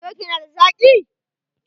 Coke na da zaki?